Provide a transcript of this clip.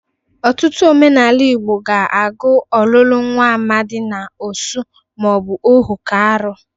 Ọtụtụ omenala Igbo ga-agụ ọlụlụ nwa amadị na osu ma ọ bụ ohu ka arụ.